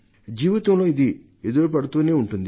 జీవితంలో ఇది ఎదురుపడుతూనే ఉంటుంది